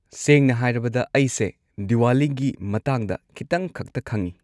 ꯁꯦꯡꯅ ꯍꯥꯏꯔꯕꯗ ꯑꯩꯁꯦ ꯗꯤꯋꯥꯂꯤꯒꯤ ꯃꯇꯥꯡꯗ ꯈꯤꯇꯪꯈꯛꯇ ꯈꯪꯉꯤ꯫